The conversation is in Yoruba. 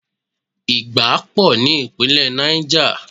Ìgbá pò ní Ìpínlẹ̀ Niger.